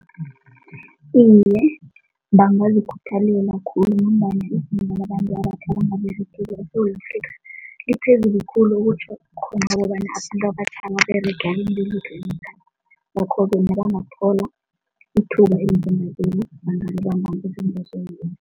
Iye, bangazikhuthalela khulu ngombana izinto abantu eSewula Afrika liphezulu khulu okutjho khona ukobana ababerega emberegweni lo ngakho bona bangathola ithuba